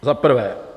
Za prvé.